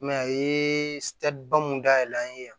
Mɛ a ye mun dayɛlɛ an ye yan